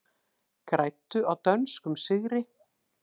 Græddu á dönskum sigri